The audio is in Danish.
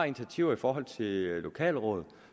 initiativer i forhold til lokalråd og